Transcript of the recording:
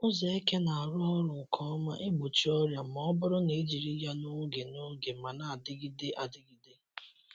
Ụzọ eke na-arụ ọrụ nke ọma igbochi ọrịa ma ọ bụrụ na ejiri ya n’oge n’oge ma na-adịgide adịgide.